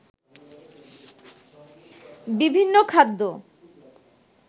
বিভিন্ন খাদ্য